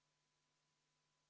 Palun võtta seisukoht ja hääletada!